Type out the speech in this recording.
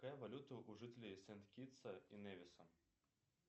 какая валюта у жителей сент китса и невиса